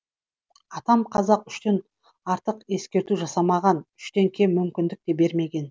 атам қазақ үштен артық ескерту жасамаған үштен кем мүмкіндік те бермеген